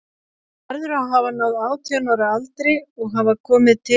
Hann verður að hafa náð átján ára aldri og hafa komið til